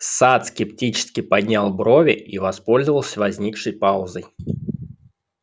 сатт скептически поднял брови и воспользовался возникшей паузой